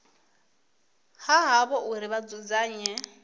ha havho uri vha dzudzanye